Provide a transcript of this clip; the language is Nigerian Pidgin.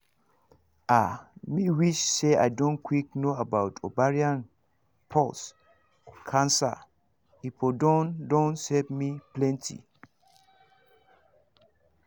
ah me wish say i don quick know about ovarian pause cancer e for don don save me plenty